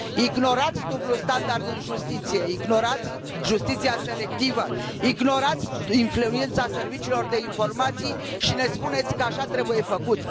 Ignorați dublul standard în justiție, ignorați justiția selectivă, ignorați influența serviciilor de informații și ne spuneți că așa trebuie făcut.